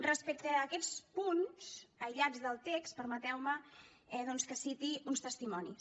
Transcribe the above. respecte a aquests punts aïllats del text permeteu me doncs que citi uns testimonis